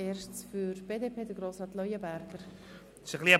Zuerst spricht Grossrat Leuenberger für die BDP.